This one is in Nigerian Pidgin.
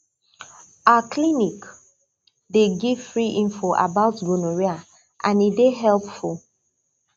our clinic dey give free info about gonorrhea and e dey helpful